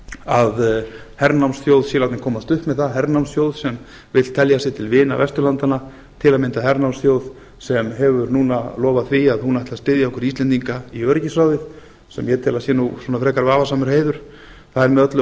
að hernámsþjóð sé látin komast upp með það hernámsþjóð sem vill telja sig til vina vesturlandanna til að mynda hernámsþjóð sem hefur núna lofað því að hún ætli að styðja okkur íslendinga í öryggisráðið sem ég tel að sé svona frekar vafasamur heiður það er með öllu